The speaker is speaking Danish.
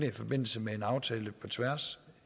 i forbindelse med en aftale på tværs